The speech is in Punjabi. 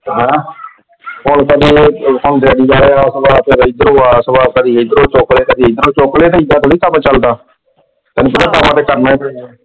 ਹਾਂ। ਕਦੀ ਇਧਰੋਂ ਚੁਕਲੇ ਤੇ ਕਦੀ ਉਧਰੋਂ ਚੁਕਲੋ, ਏਦਾਂ ਥੋੜੀ ਕੱਮ ਚਲਦਾ। ਕੱਮ ਦੋਵੇਂ ਥਾਵਾਂ ਤੇ ਕਰਨਾ ਹੀ ਪੈਂਦਾ।